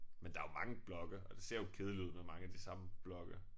Men der jo mange blokke og det ser jo kedeligt ud med mange af de samme blokke